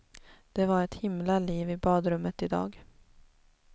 Det var ett himla liv i badrummet i dag.